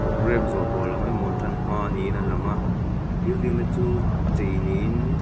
programme zawh tawh lam emaw ṭan hma niin a lang a building ni chu chei niin --